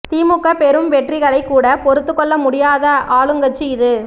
திமுக பெறும் வெற்றிகளைக் கூட பொறுத்துக்கொள்ள முடியாத ஆளுங்கட்சி இது